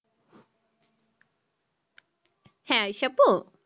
হ্যাঁ সেপু